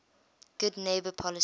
good neighbor policy